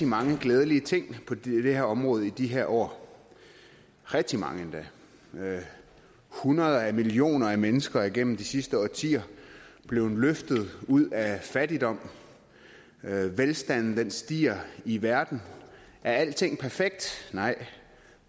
mange glædelige ting på det her område i de her år rigtig mange endda hundreder af millioner af mennesker er gennem de sidste årtier blevet løftet ud af fattigdom velstanden stiger i verden er alting perfekt nej